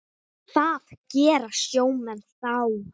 Hvað gera sjómenn þá?